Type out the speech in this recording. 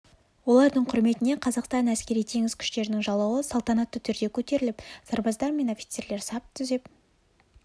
олардың құрметіне қазақстан әскери теңіз күштерінің жалауы салтанатты түрде көтеріліп сарбаздар мен офицерлер сап түзеп